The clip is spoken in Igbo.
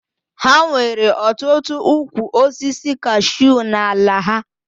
Ha nwere ọtụtụ ụkwụ osisi kashuu n'ala ha